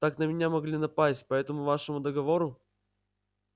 так на меня могли напасть по этому вашему договору